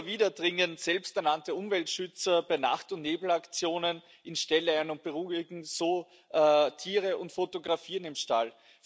Immer wieder dringen selbsternannte Umweltschützer bei Nacht und Nebelaktionen in Ställe ein und beunruhigen so Tiere und fotografieren im Stall.